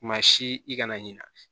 Maa si i kana ɲina